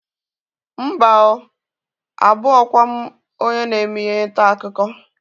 Mba oo, abụghọkwa m onye na-eme ihe ntaakụkọ